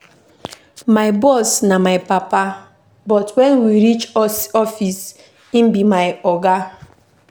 My boss na my papa, but wen we reach office, im be my oga.